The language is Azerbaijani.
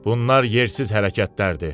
Bunlar yersiz hərəkətlərdir.